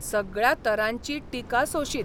सगळ्या तरांची टिका सोशीत.